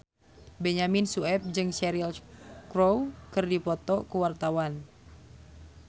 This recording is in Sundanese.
Benyamin Sueb jeung Cheryl Crow keur dipoto ku wartawan